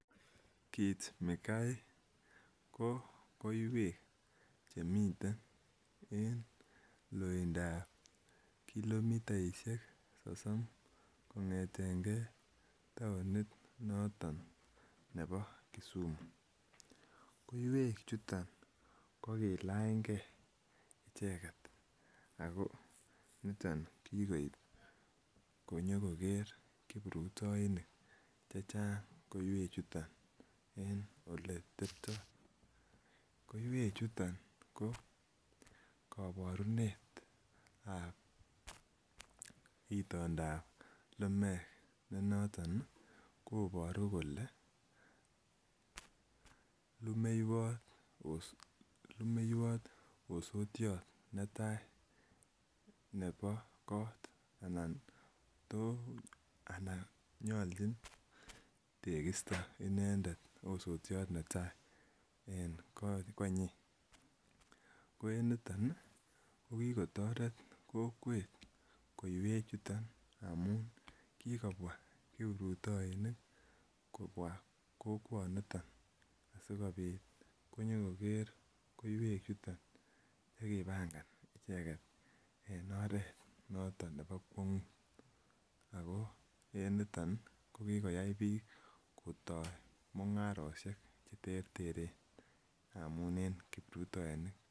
Kit mikai ko koiwek che miten en loindap kilomitaishek sosom kongeten tounit noton nebo Kisumu, koiwek chuton ko kilanygee icheget ako niton kiib nyo koker kiprutoinik chechang koiwek chuton en ole tepto. Koiwek chuton ko koborunetab itondap lumek ne noton koboru kole lumeiywot osotyot netaa nebo kot anan to anan nyoljin tekisto inendet osotiot netaa en konyin. Ko en niton ko kikotoret kokwet koiwek chuton amun kikobwaa kiprutoinik kobwaa kokwoniton asikopit kobwaa konyo koger koiwek chuton che kipangan icheget en oret noton nebo kwongut ako en niton ko kikoyay biik kotoo mingarok che terteren amun en kiprutoinik